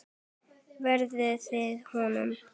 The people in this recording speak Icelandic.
Lærðuð þið hönnun?